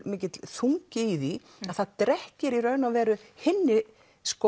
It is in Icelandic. mikill þungi í því að það drekkir í raun og veru hinni